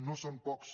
no són pocs